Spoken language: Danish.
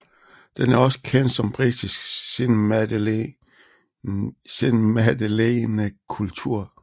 Den er også kendt som britisk senmadeleinekultur